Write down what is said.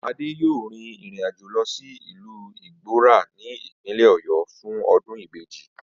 Adé yóò rin ìrìnàjò lo̩ sí ìlú Igbóo̩rà ní ìpínlè̩ Ò̩yó̩ fún o̩dún ìbejì